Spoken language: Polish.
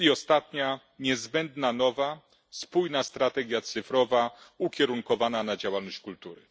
I ostatnia niezbędna nowa spójna strategia cyfrowa ukierunkowana na działalność kultury.